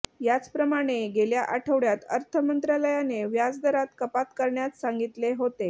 याचप्रमाणे गेल्या आठवडय़ात अर्थ मंत्रालयाने व्याजदरात कपात करण्यास सांगितले होते